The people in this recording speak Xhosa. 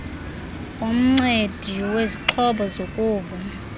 womncedi wezixhobo zokuva